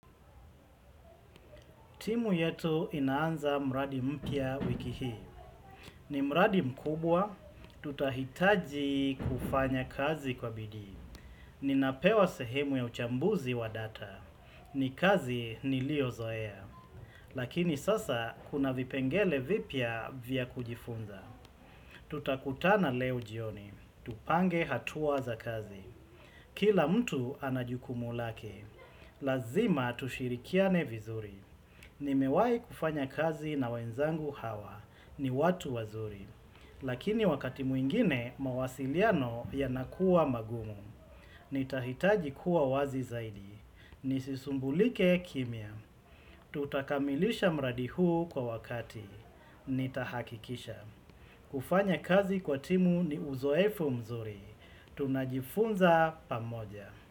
Timu yetu inaanza mradi mpya wiki hii. Ni mradi mkubwa, tutahitaji kufanya kazi kwa bidii. Ninapewa sehemu ya uchambuzi wa data. Ni kazi niliyozoea. Lakini sasa kuna vipengele vipya vya kujifunza. Tutakutana leo jioni. Tupange hatua za kazi. Kila mtu ana jukumulake. Lazima tushirikiane vizuri. Nimewahi kufanya kazi na wenzangu hawa. Ni watu wazuri. Lakini wakati mwingine, mawasiliano yanakuwa magumu. Nitahitaji kuwa wazi zaidi. Nisisumbulike kimya. Tutakamilisha mradi huu kwa wakati. Nitahakikisha. Kufanya kazi kwa timu ni uzoefu mzuri. Tunajifunza pamoja.